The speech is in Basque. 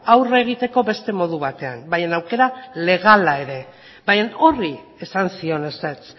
aurre egiteko beste modu batean baina aukera legala ere baina horri esan zion ezetz